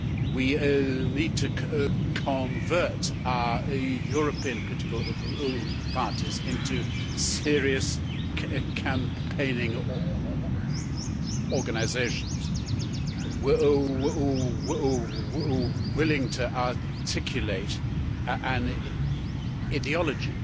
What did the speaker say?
we need to convert our European political parties into serious campaigning organisations willing to articulate an ideology